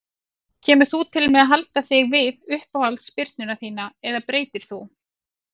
Kemur þú til með að halda þig við uppáhalds spyrnuna þína eða breytir þú?